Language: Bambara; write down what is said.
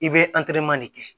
I bɛ de kɛ